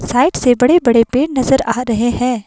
Side से बड़े-बड़े पेड़ नजर आ रहे हैं।